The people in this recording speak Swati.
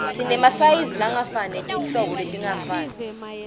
sinemasayizi langefani netinhlobo letingafani